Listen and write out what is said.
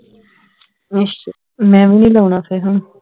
ਅਸ਼ਾ ਮੈਂ ਵੀ ਨੀ ਲਾਉਣਾ ਫੇਰ ਹੁਣ